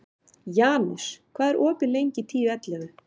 Janus, hvað er opið lengi í Tíu ellefu?